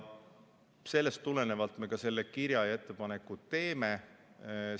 Sellest tulenevalt me selle kirja panime ja ettepanekud teeme.